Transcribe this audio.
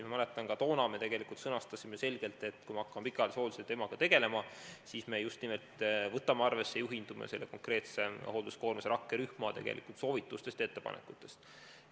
Ma mäletan, et ka toona me sõnastasime selgelt, et kui me hakkame pikaajalise hoolduse teemaga tegelema, siis me just nimelt juhindume selle hoolduskoormuse rakkerühma soovitustest ja ettepanekutest.